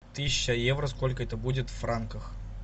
тысяча евро сколько это будет в франках